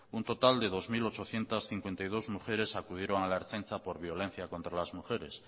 un total de dos mil ochocientos cincuenta y dos mujeres acudieron a la ertzaintza por violencia contra las mujeres